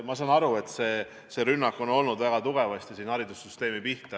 Ma saan aru, et see rünnak oli väga tugevasti haridussüsteemi pihta.